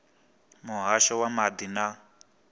na muhasho wa maḓi na